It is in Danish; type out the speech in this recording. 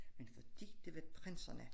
Men fordi det var prinserne